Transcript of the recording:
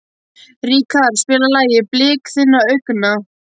Ríkharð, spilaðu lagið „Blik þinna augna“.